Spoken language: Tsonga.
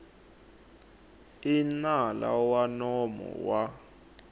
i nala wa nomo wa